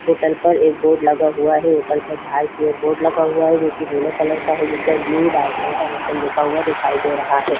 Hotel पर एक board लगा हुआ है होटल पर बाहर की ओर बोर्ड लगा हुआ है जो की नीले कलर का है जिसपर ब्लू डायमंड द होटल लिखा हुआ दिखाई दे रहा है।